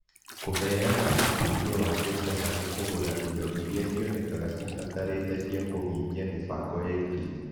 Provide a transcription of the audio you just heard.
Kũheana ũteithio wa mbeca harĩ kũgũra indo iria cionekaga cibatarĩte cia kũhingia mĩbango ya itugĩ